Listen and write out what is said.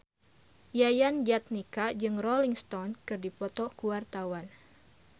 Yayan Jatnika jeung Rolling Stone keur dipoto ku wartawan